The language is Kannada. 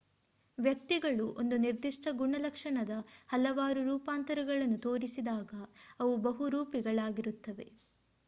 ವ್ಯಕ್ತಿಗಳು ಒಂದು ನಿರ್ದಿಷ್ಟ ಗುಣಲಕ್ಷಣದ ಹಲವಾರು ರೂಪಾಂತರಗಳನ್ನು ತೋರಿಸಿದಾಗ ಅವು ಬಹುರೂಪಿಗಳಾಗಿರುತ್ತವೆ